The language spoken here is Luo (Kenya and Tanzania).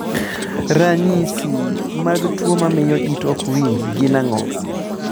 Ranyisi mag tuo mamio it okwinji gin ang'o?